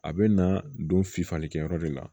A bɛ na don fifalikɛyɔrɔ de la